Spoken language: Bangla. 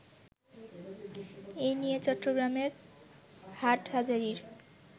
এ নিয়ে চট্টগ্রামের হাটহাজারির